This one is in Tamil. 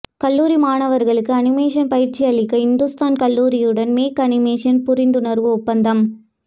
கல்லூரி மாணவர்களுக்கு அனிமேஷன் பயிற்சியளிக்க இந்துஸ்தான் கல்லூரியுடன் மேக் அனிமேஷன் புரிந்துணர்வு ஒப்பந்தம்